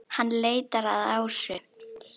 Hann leitar að Ásu.